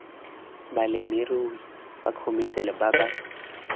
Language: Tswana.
balemirui ba khomešiale ba ba